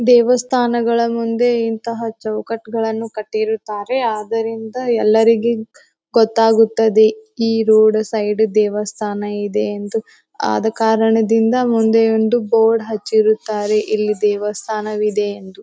ದೇವಸ್ಥಾನಗಳ ಮುಂದೆ ಇಂತಹ ಚೌಕಟ್ಟ್ ಗಳನ್ನೂ ಕಟ್ಟಿರುತ್ತಾರೆ ಅದರಿಂದ ಎಲ್ಲರಿಗೆ ಗೊತ್ತಾಗುತ್ತದೆ ಈ ರೋಡ ಸೈಡ್ ದೇವಸ್ಥಾನ ಇದೆ ಎಂದು ಆದ ಕಾರಣದಿಂದ ಮುಂದೆ ಒಂದು ಬೋರ್ಡ್ ಹಚ್ಚಿರುತ್ತಾರೆ ಇಲ್ಲಿ ದೇವಸ್ಥಾನ ಇದೆ ಎಂದು .